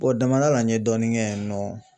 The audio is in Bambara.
damadala n ye dɔɔni kɛ yen nɔ.